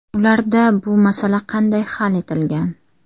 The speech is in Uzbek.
Ularda bu masala qanday hal etilgan?